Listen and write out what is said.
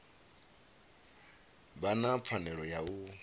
vha na pfanelo ya u